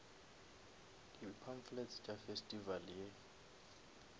di pamphlets tša festival ye